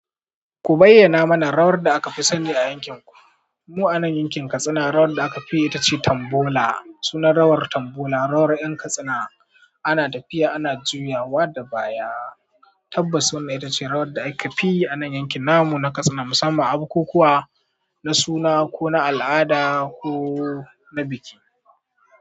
Ku bayyana mana rawar da aka fi sani a yankin ku. Mu'anen yankin Katsina rawar da aka fiyi ita ce Tambola. Sunan rawar Tambola, rawar 'yan Katsina ana tafiya, ana juyawa da baya. Tabbas wannan ita ce rawar da aka fiyi anan yankin namu na Katsina musamman a bukukuwa, na suna ko na al'ada ko na biki.